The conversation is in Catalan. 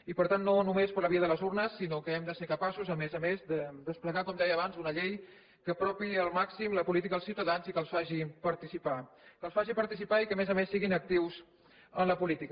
i per tant no només per la via de les urnes sinó que hem de ser capaços a més a més de desplegar com deia abans una llei que apropi al màxim la política als ciutadans i que els faci participar que els faci participar i que a més a més siguin actius en la política